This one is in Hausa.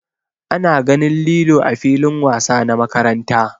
Ana ganin lilo ã filin wasa na makaranta.